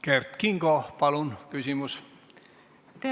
Kert Kingo, palun küsimus!